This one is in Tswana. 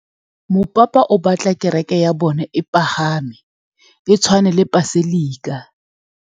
Mopapa o batla kereke ya bone e pagame, e tshwane le paselika.